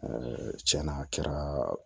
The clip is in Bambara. tiɲɛna a kɛra